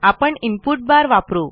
आपण input bar वापरू